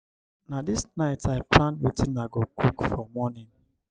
na dis night i plan wetin i go cook for morning.